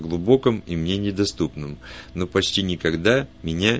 глубоком и мне недоступным но почти никогда меня